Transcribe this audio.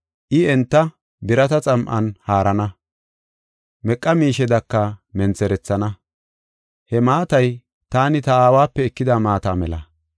“I enta birata xam7an haarana; meqa miishedaka mentherethana.” He maatay taani ta aawape ekida maata mela.